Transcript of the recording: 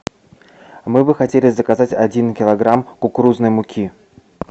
мы бы хотели заказать один килограмм кукурузной муки